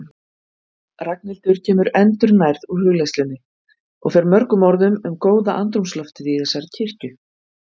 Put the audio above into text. Ragnhildur kemur endurnærð úr hugleiðslunni og fer mörgum orðum um góða andrúmsloftið í þessari kirkju.